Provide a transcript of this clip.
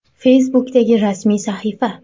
Facebook’dagi rasmiy sahifa: !